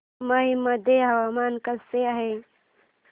मौ मध्ये हवामान कसे आहे